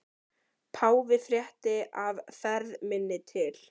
Páfi frétti af ferð minni til